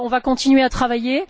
On va continuer à travailler.